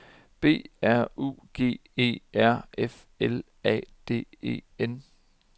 B R U G E R F L A D E N